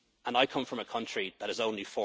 States. I come from a country that